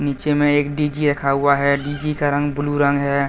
नीचे में एक डि_जी रखा हुआ है डी_जी का रंग ब्लू रंग है।